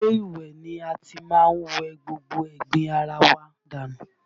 Ilé ìwẹ̀ ni a ti má ń wẹ gbogbo ẹ̀gbin ara wa dànù